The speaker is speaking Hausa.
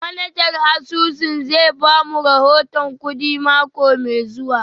Manajan asusun zai ba mu rahoton kudi mako mai zuwa